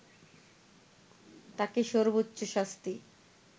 তাকে সব্বোর্চ্চ শাস্তি